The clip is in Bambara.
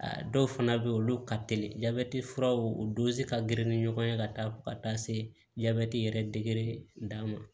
A dɔw fana bɛ yen olu ka teli jabɛti furaw o dosi ka girin ni ɲɔgɔn ye ka taa ka taa se jabɛti yɛrɛ degere da ma